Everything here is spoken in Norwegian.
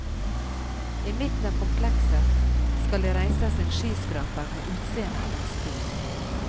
I midten av komplekset skal det reises en skyskraper med utseende av et spyd.